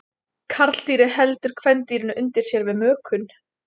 Karldýrið heldur kvendýrinu undir sér við mökun.